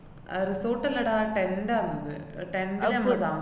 അഹ് resort അല്ലെടാ tent ആന്നത്. tent ഇലാ പോയി താമ~